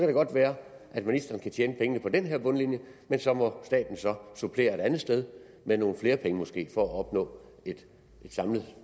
det godt være at ministeren kan tjene pengene ind på den her bundlinje men så må staten måske så supplere et andet sted med nogle flere penge for at opnå et samlet